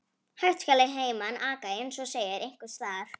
Hægt skal að heiman aka, eins og segir einhvers staðar.